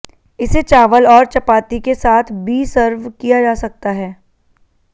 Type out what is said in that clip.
इसे चावल और चपाती के साथ बी सर्व किया जा सकता है